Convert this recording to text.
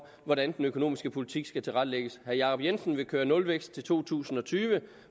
hvordan den økonomiske politik skal tilrettelægges herre jacob jensen vil køre nulvækst til to tusind og tyve